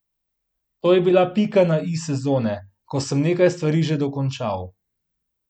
To je bila pika na i sezone, ko sem nekaj stvari že dokončal.